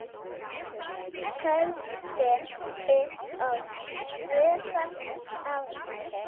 Höldum upp á tvöfalt afmæli.